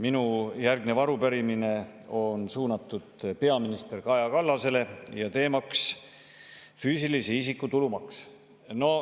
Minu järgnev arupärimine on suunatud peaminister Kaja Kallasele ja teemaks on füüsilise isiku tulumaks.